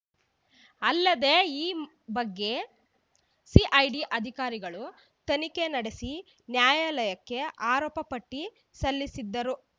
ಅಲ್ಲದೇ ಈ ಬಗ್ಗೆ ಸಿಐಡಿ ಅಧಿಕಾರಿಗಳು ತನಿಖೆ ನಡೆಸಿ ನ್ಯಾಯಾಲಯಕ್ಕೆ ಆರೋಪಪಟ್ಟಿಸಲ್ಲಿಸಿದ್ದರು